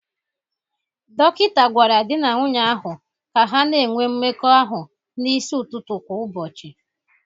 Dọkịta gwara di na nwunye ahụ ka ha na-enwe mmekọ ahụ n'isi ụtụtụ kwa ụbọchị